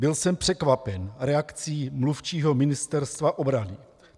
Byl jsem překvapen reakcí mluvčího Ministerstva obrany.